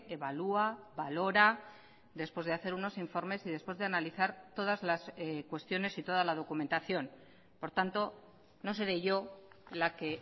evalúa valora después de hacer unos informes y después de analizar todas las cuestiones y toda la documentación por tanto no seré yo la que